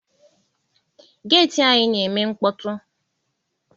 Geeti anyi na-eme mkpọtụ.